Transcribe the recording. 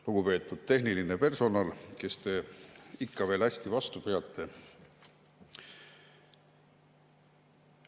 Lugupeetud tehniline personal, kes te ikka veel hästi vastu peate!